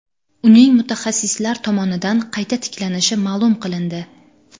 Uning mutaxassislar tomonidan qayta tiklanishi ma’lum qilindi.